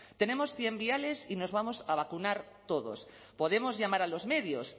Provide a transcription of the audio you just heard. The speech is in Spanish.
tenemos cien viales y nos vamos a vacunar todos podemos llamar a los medios